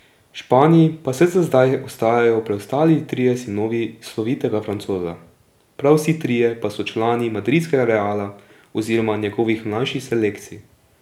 V Španiji pa vsaj za zdaj ostajajo preostali trije sinovi slovitega Francoza, prav vsi trije pa so člani madridskega Reala oziroma njegovih mlajših selekcij.